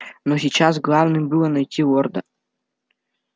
но сейчас главным было найти лорда